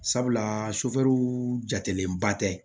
Sabula jatelenba tɛ